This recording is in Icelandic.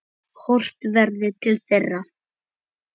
Horft verði til þeirra.